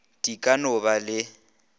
di ka no ba le